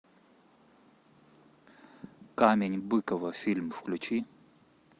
камень быкова фильм включи